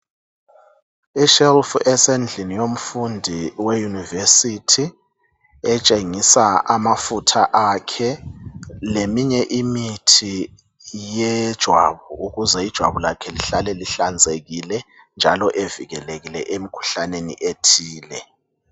Shelf esendlini yomfundi weYunivesithi etshengisa amafutha akhe, leminye imithi yejwabu, ukuze ijwabu lakhe lihlale lihlanzekile njalo evikelekile emikhuhlaneni ethile.